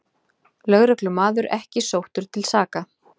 Lögreglumaður ekki sóttur til saka